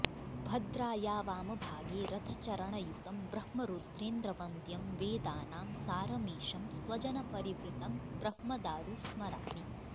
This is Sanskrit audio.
भद्राया वामभागे रथचरणयुतं ब्रह्मरुद्रेन्द्रवन्द्यं वेदानां सारमीशं स्वजनपरिवृतं ब्रह्मदारु स्मरामि